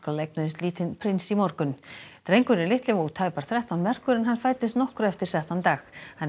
eignuðust lítinn prins í morgun drengurinn litli vó tæpar þrettán merkur en hann fæddist nokkru eftir settan dag hann er